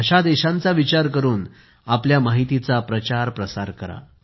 अशा देशांचा विचार करुन आपल्या माहितीचा प्रचार प्रसार करा